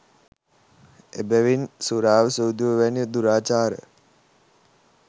එබැවින් සුරාව, සූදුව වැනි දුරාචාර